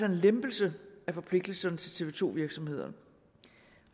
en lempelse af forpligtelserne for tv to virksomhederne